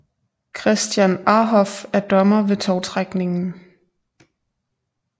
Christian Arhoff er dommer ved tovtrækningen